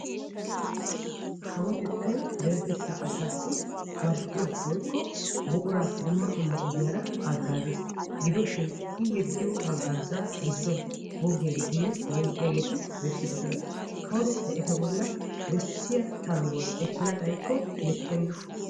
Kawotettay deretettaa asassi marccuwaa woykko buquraa dumma dumma ogiyaara haggaazes gidoshin i yeddiyoo haggaazaa gidduwaan boggiyaagetiinne bonqqiyaageti bessidosona. kawotettay eta bolli bessiyaa tangguwaa ekkana xayikko likkenna